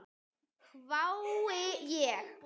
hvái ég.